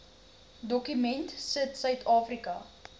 dokument sit suidafrika